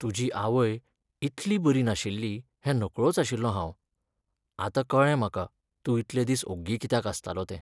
तुज्यि आवय इतली बरी नाशिल्ली हें नकळोच आशिल्लों हांव. आतां कळ्ळें म्हाका तूं इतले दीस ओग्गी कित्याक आसतालो तें.